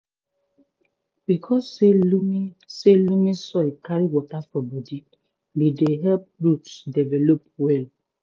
because say loamy say loamy soil carry water for bodi e dey help roots develop well